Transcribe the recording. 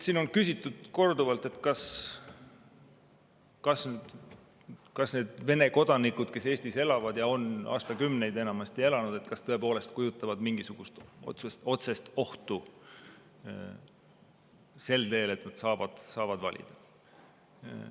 Siin on küsitud korduvalt, kas need Vene kodanikud, kes Eestis elavad ja on siin aastakümneid elanud, tõepoolest kujutavad endast mingisugust otsest ohtu, kui nad saavad valida.